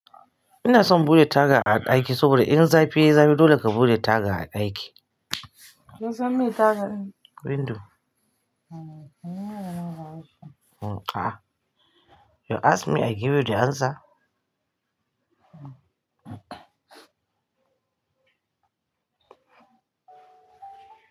Ina son buɗe taga a ɗaki saboda in zafi yai zafi dole ka buɗe taga a ɗaki. Kin san me taga ne? Window. You ask me I give you the answer.